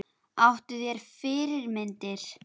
Áttu þér fyrirmyndir?